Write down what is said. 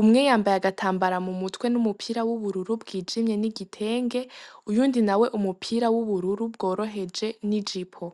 umweyambaye agatambara mu mutwe n'umupira w'ubururu bw'ijimye n'igitenge uyu undi na we umupira w'ubururu bworoheje n'i jipo.